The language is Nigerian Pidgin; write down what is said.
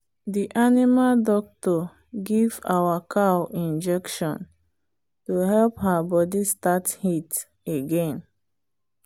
the animal doctor give our cow injection to help her body start heat again.